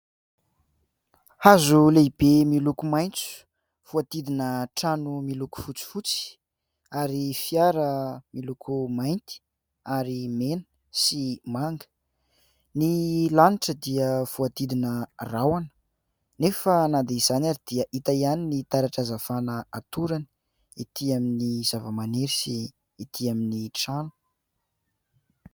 Hazo lehibe miloko maitso, voadidina trano miloko fotsifotsy, ary fiara miloko mainty ary mena sy manga. Ny lanitra dia voadidina rahoana, nefa na dia izany ary dia hita ihany ny taratra hazavana hatorany ety amin'ny zava-maniry sy ety amin'ny trano.